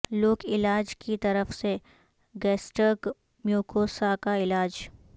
لوک علاج کی طرف سے گیسٹرک میوکوسا کا علاج